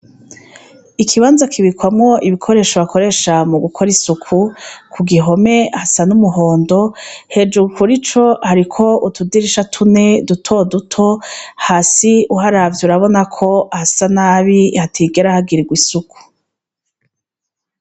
Ikibanza kibikwamwo ibikoresho bakoresha mu gukora isuku ku gihome hasa n'umuhondo hejuru kuri co hariko utudirisha tune dutoduto hasi uharavye urabona ko hasa nabi hatigera hagirirwa isuku.